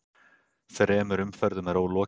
Þremur umferðum er ólokið